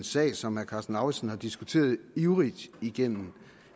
sag som herre karsten lauritzen har diskuteret ivrigt igennem